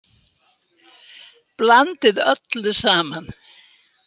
Blandið öllu saman.